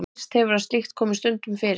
Heyrst hefur að slíkt komi stundum fyrir.